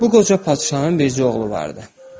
Bu qoca padşahın bircə oğlu vardı.